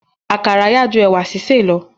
Àkàrà yá ju ẹ̀wà sísè lọ.